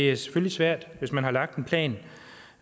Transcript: er svært hvis man har lagt en plan